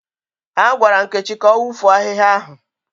Agwara Nkechi ka ọ wụfuo ahịhịa ahụ.